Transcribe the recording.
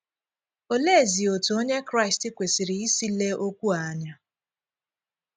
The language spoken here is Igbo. Òleezí otú Onye Kraịst kwesịrị ísi lée okwu a anya?